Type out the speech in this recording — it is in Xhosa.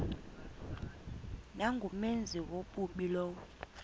nangumenzi wobubi lowo